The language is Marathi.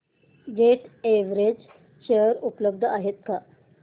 जेट एअरवेज शेअर उपलब्ध आहेत का